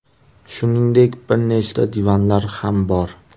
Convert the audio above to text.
Shuningdek, bir nechta divanlar ham bor.